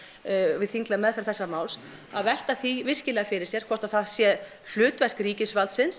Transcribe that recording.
við þinglega meðferð þessa máls að velta því virkilega fyrir sér hvort það sé hlutverk ríkisvaldsins